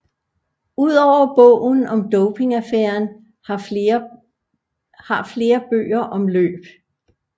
Udover bogen om dopingaffæren har flere bøger om løb